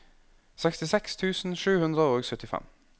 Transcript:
sekstiseks tusen sju hundre og syttifem